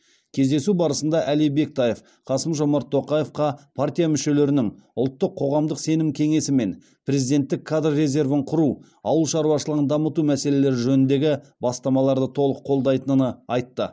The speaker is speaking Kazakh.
кездесу барысында әли бектаев қасым жомарт тоқаевқа партия мүшелерінің ұлттық қоғамдық сенім кеңесі мен президенттік кадр резервін құру ауыл шаруашылығын дамыту мәселелері жөніндегі бастамаларды толық қолдайтыны айтты